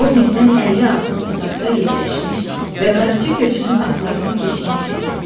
O bizdən 50 addım uzaqda yerləşmiş və qaraçı köçünün atlarının keşiyini çəkirdi.